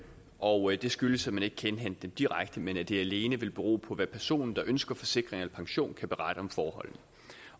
og det skyldes at man ikke kan indhente dem direkte men at det alene vil bero på hvad personen der ønsker en forsikring eller pension kan berette om forholdene